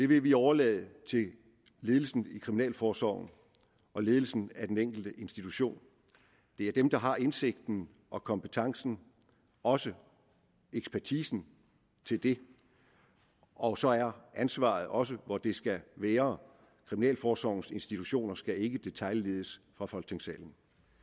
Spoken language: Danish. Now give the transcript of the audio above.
vil vi overlade til ledelsen i kriminalforsorgen og ledelsen af den enkelte institution det er dem der har indsigten og kompetencen og også ekspertisen til det og så er ansvaret også hvor det skal være kriminalforsorgens institutioner skal ikke detailledes fra folketingssalen